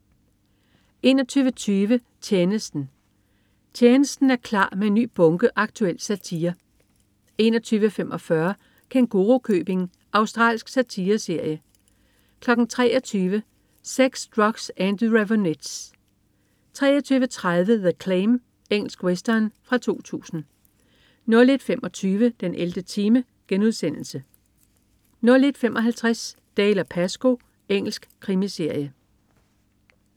21.20 Tjenesten. "Tjenesten" er klar med en ny bunke aktuel satire 21.45 Kængurukøbing. Australsk satireserie 23.00 Sex, Drugs & The Raveonettes 23.30 The Claim. Engelsk western fra 2000 01.25 den 11. time* 01.55 Dalziel & Pascoe. Engelsk krimiserie